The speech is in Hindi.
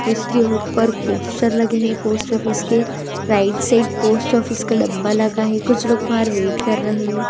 उसके ऊपर पोस्टर लगे हैं पोस्ट ऑफिस के राइट साइड पोस्ट ऑफिस का डब्बा लगा है कुछ लोग बाहर वेट कर रहे हैं।